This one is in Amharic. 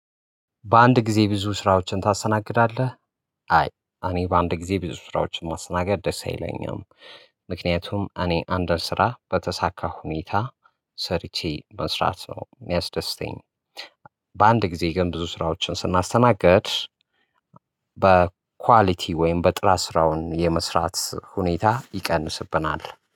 በአንድ ጊዜ ብዙ ስራዎችን ታሰናግዳለህ? አይ አኔ በአንድ ጊዜ ብዙ ስራዎችን ማስተናገድ ደስ አይለኝም። ምክንያቱም አኔ አንድን ስራ በተሳካ ሁኔታ ሰርቼ መስራት ነው የሚያስደስተኝ። በአንድ ጊዜ ግን ብዙ ስራዎችን ስናስተናግድ። በኳሊቲ ወይም በጥራት ስራውን የመስራት ሁኔታ ይቀንስብናል